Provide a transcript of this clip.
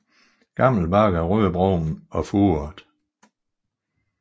Gammel bark er rødbrun og furet